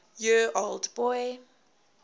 year old boy